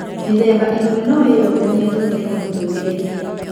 Mĩthemba ĩmwe no ĩyonanie thutha-inĩ mũtũrĩre-inĩ